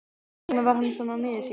Hvers vegna var hann svona miður sín?